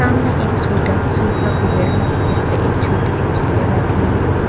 सामने एक सूटा सूखा पेहड़ है जिस पर एक छोटी सी चिड़िया बैठी है।